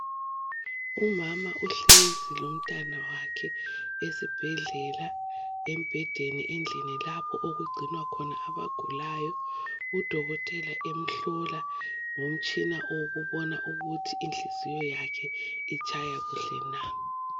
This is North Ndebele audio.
Umama uhlezi lomntanakhe esibhedlela , embhedeni endlini lapho okugcinwa khona abagulayo .Udokotela emhlola ngomtshina owokubona ukuthi inhliziyo yakhe itshaya kuhle na .